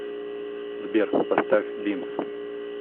сбер поставь бимс